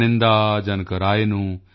ਪੇਨਿੰਦਾ ਪਰਮੇਗੋਂਡਾਨੂ ਹਿਮਵੰਤਨੁ